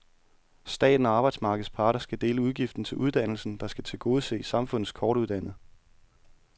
Staten og arbejdsmarkedets parter skal dele udgiften til uddannelsen, der skal tilgodese samfundets kortuddannede.